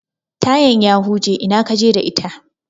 Tayan ya huje, ina kaje da ita?